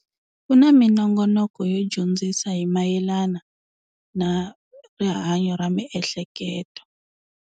Ku na minongonoko yo dyondzisa hi mayelana na rihanyo ra miehleketo.